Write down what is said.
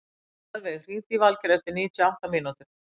Mjaðveig, hringdu í Valgeir eftir níutíu og átta mínútur.